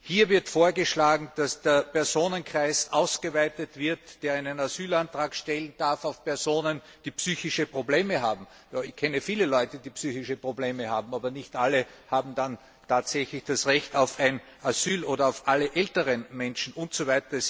Hier wird vorgeschlagen, dass der Personenkreis, der einen Asylantrag stellen darf, auf Personen ausgeweitet wird, die psychische Probleme haben ja, ich kenne viele Leute, die psychische Probleme haben, aber nicht alle haben dann tatsächlich das Recht auf Asyl oder auf alle älteren Menschen usw.